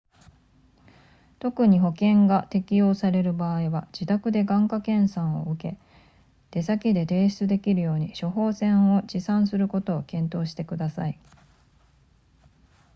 特に保険が適用される場合は自宅で眼科検査を受け出先で提出できるように処方箋を持参することを検討してください